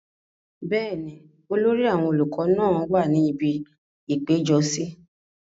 bẹ́ẹ̀ni, olórí àwọn olùkọ náà wà ní ibi ìpéjọsí